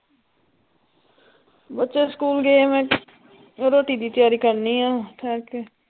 ਬੱਚੇ ਸਕੂਲ਼ ਗਏ ਹੋਏ ਤਿਆਰੀ ਕਰਨੀ ਆ ਠੇਰ ਕੇ